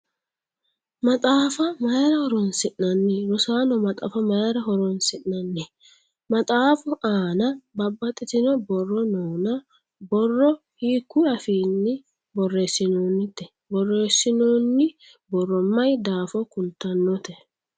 Maxaafa mayira boreesinnanni? Rosaano maxaafa mayira horoonsi'nanni? Maxaafu aanna babbaxitino booro noonna borro hiikuyi afiinni boreesinoonnite? Boreesinnonni borro mayi daafo kultanotte?